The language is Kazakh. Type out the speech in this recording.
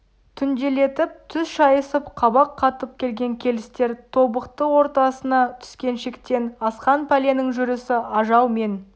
түнделетіп түс шайысып қабақ қатып келген келістер тобықты ортасына түскен шектен асқан пәленің жүрісі ажал мен